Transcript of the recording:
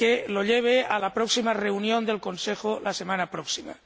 lo lleve a la próxima reunión del Consejo la semana próxima.